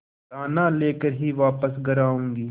दाना लेकर ही वापस घर आऊँगी